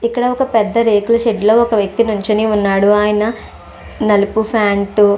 ఇక్కడ వక పెద్ద రేకుల షెడ్ ఒక వ్యక్తి నించుని ఉన్నాడు. ఆయన నలుపు ఫాంట్ --